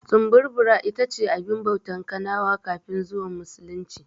Tsumburbura ita ce abin bautar kanawa kafin zuwan Musulunci.